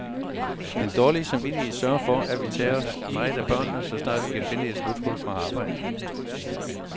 Den dårlige samvittighed sørger for, at vi tager os meget af børnene, så snart vi kan finde et smuthul fra arbejdet.